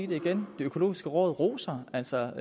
det igen det økologiske råd roser altså